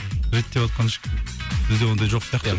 реттеватқан ешкім бізде ондай жоқ сияқты ия